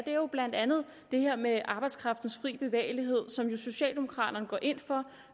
er jo blandt andet det her med arbejdskraftens fri bevægelighed som socialdemokraterne går ind for